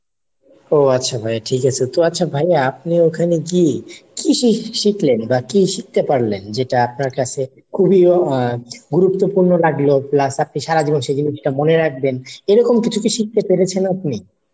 ও আচ্ছা ভাই ঠিক আছে তো আচ্ছা ভাই আপনি ওইখানে গিয়ে কি শিখলেন বা কি শিখতে পারলেন যেটা আপনার কাছে খুবই আহ গুরুত্বপূর্ণ লাগলো plus আপনি সারাজীবন সে জিনিসটা মনে রাখবেন এরকম কিছু কি শিখতে পেরেছেন আপনি?